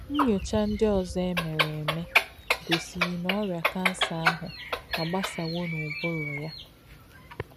Nnyocha ndị ọzọ e mere mere gosiri na ọrịa kansa ahụ agbasawo n'ụbụrụ ya.